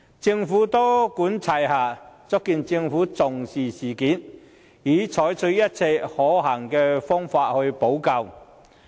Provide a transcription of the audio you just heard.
政府多管齊下，足見其重視事件，並已採取一切可行的方法補救。